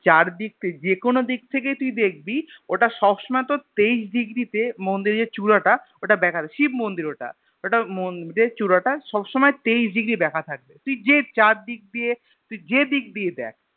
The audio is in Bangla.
চারদিক যে কোনো দিক থেকে তুই দেখবি ওটা সবসময় তোর তেইশ Degree তে মন্দিরের চুরাটা ওটা বেঁকা থাকে শিব মন্দির ওটা মন্দিরের চুড়াটা সব সময় তেইশ Degree বেঁকা থাকে তুই যে চার দিক দিয়ে তুই যেদিক দিয়েই দেখ